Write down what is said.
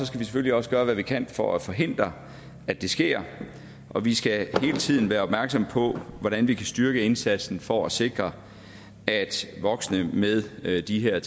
selvfølgelig også gøre hvad vi kan for at forhindre at det sker og vi skal hele tiden være opmærksom på hvordan vi kan styrke indsatsen for at sikre at voksne med med de her